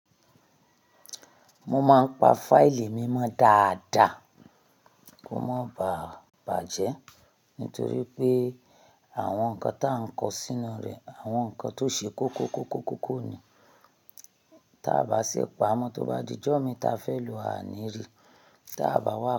Mo máa ń pa fáìlì mi mọ́ dáadáa kó má bà bàjẹ́ nítorí pé àwọn nǹkan tó ń kọ sínú rẹ̀, àwọn nǹkan tó ṣe kókó kókó kókó ni. Tá bá sì pa ámọ́ tó bá di ọjọ́ mi ta fẹ́ lò a ní rí, tá bá wà.